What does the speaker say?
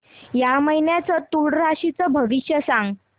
या महिन्याचं तूळ राशीचं भविष्य सांग